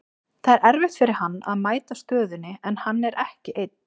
Það er erfitt fyrir hann að mæta stöðunni, en hann er ekki einn.